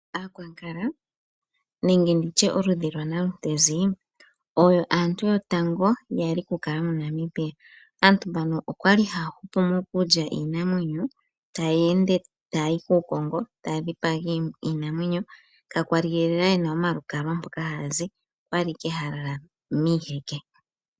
Aakwankala nenge nditye oludhi lwa Nalutezi oyo aantu yotango yali kukala moNamibia. Aantu mbano okwali haya hupu mokulya iinamwenyo taya ende tayayi kuukongo taya dhipaga iinamwenyo kakwali lela yena omalukalwa mpoka haya zi, okwali owala haya lala miiheke.